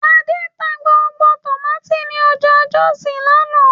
Adé ta gbogbo tòmátì ní ọjà Jọ́òsì lánàá